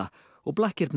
og